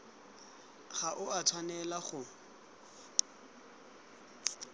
ga o a tshwanela go